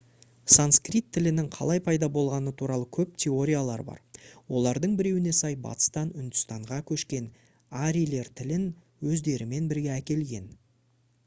санскрит тілінің қалай пайда болғаны туралы көп теориялар бар олардың біреуіне сай батыстан үндістанға көшкен арийлер тілін өздерімен бірге әкелген